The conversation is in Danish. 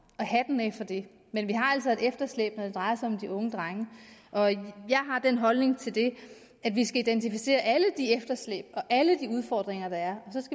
og hatten af for det men vi har altså et efterslæb når det drejer sig om de unge drenge jeg har den holdning til det at vi skal identificere alle de efterslæb og alle de udfordringer der er